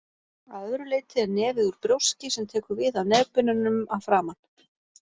Að öðru leyti er nefið úr brjóski sem tekur við af nefbeinunum að framan.